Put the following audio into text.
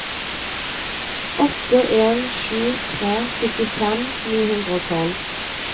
åtte en sju tre syttifem ni hundre og tolv